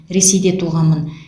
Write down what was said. ресейде туғанмын